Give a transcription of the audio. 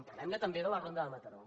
parlem ne també de la ronda de mataró